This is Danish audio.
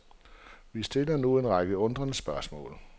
Vi står nu med en række undrende spørgsmål.